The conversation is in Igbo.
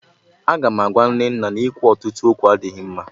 Aga m agwa Nnenna na ọnụ na-eri eri adịghị mma